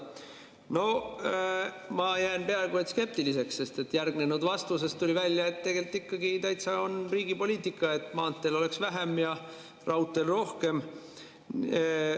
No ma jään peaaegu skeptiliseks, sest järgnenud vastusest tuli välja, et tegelikult ikkagi täitsa on riigi poliitika selline, et maanteel oleks vähem ja raudteel rohkem.